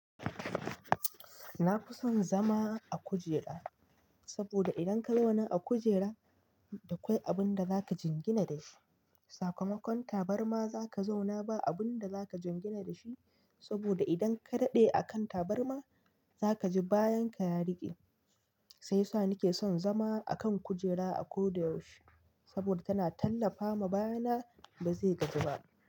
Na fi son zama a kujera, saboda idan ka zauna a kujera akwai abin da za ka jingina da shi. Sakamakon tabarma za ka zauna ba abin da za ka jingina da shi, saboda idan ka daɗe a kan tabarma za ka ji bayan ka ya riƙe. Shiyasa sa na ke son zama a kan kujera a ko da yaushe, saboda tana tallafa ma baya na ba zai gaji ba.